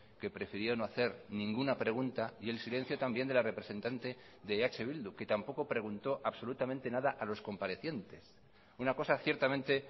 que prefirió no hacer ninguna pregunta y el silencio también de la representante de eh bildu que tampoco preguntó absolutamente nada a los comparecientes una cosa ciertamente